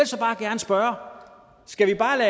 så bare gerne spørge skal vi bare